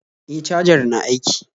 E, cajar na aiki